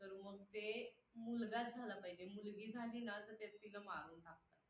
तर मग ते मुलगाच झाला पाहिजे, मुलगी झाली ना तर त्यात तीला मारून टाकतात.